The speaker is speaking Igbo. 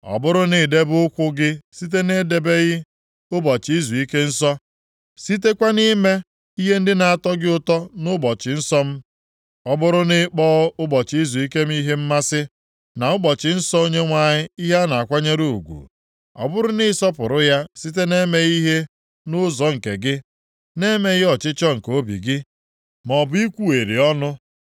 “Ọ bụrụ na i debe ụkwụ gị site na-edebeghị ụbọchị izuike nsọ, sitekwa na-ime ihe ndị na-atọ gị ụtọ nʼụbọchị nsọ m, ọ bụrụ na ịkpọ ụbọchị izuike m ihe mmasị na ụbọchị nsọ Onyenwe anyị ihe a na-akwanyere ugwu, ọ bụrụ na ị sọpụrụ ya site na-emeghị ihe nʼụzọ nke gị, na-emeghị ọchịchọ nke obi gị, maọbụ ikwugheri ọnụ,